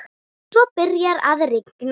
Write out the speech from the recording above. Svo byrjaði að rigna.